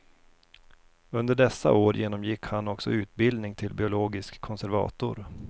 Under dessa år genomgick han också utbildning till biologisk konservator.